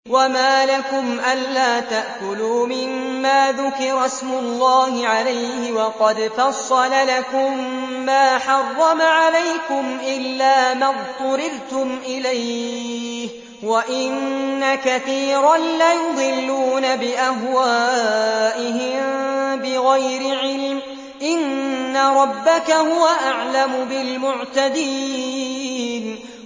وَمَا لَكُمْ أَلَّا تَأْكُلُوا مِمَّا ذُكِرَ اسْمُ اللَّهِ عَلَيْهِ وَقَدْ فَصَّلَ لَكُم مَّا حَرَّمَ عَلَيْكُمْ إِلَّا مَا اضْطُرِرْتُمْ إِلَيْهِ ۗ وَإِنَّ كَثِيرًا لَّيُضِلُّونَ بِأَهْوَائِهِم بِغَيْرِ عِلْمٍ ۗ إِنَّ رَبَّكَ هُوَ أَعْلَمُ بِالْمُعْتَدِينَ